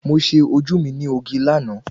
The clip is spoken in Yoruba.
Mo ṣe ojú mi ní oge láàná